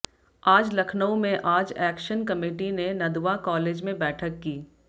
आज लखनऊ में आज एक्शन कमेटी ने नदवा कॉलेज में बैठक की